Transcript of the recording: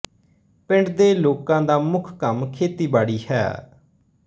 ਪਿੰਡ ਦੇ ਲੋਕਾਂ ਦਾ ਮੁੱਖ ਕੰਮ ਖੇਤੀਬਾੜੀ ਹੈ